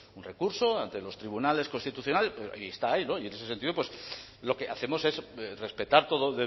un recurso ante los tribunales constitucionales y está ahí y en ese sentido pues lo que hacemos es respetar todo